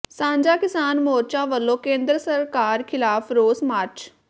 ਸਾਂਝਾ ਕਿਸਾਨ ਮੋਰਚਾ ਵੱਲੋਂ ਕੇਂਦਰ ਸਰਕਾਰ ਖਿਲਾਫ਼ ਰੋਸ ਮਾਰਚ